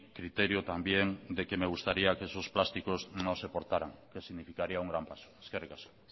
criterio también de que me gustaría que esos plásticos no se portaran que significaría un gran paso eskerrik asko